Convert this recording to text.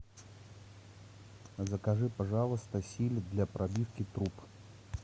закажи пожалуйста силит для пробивки труб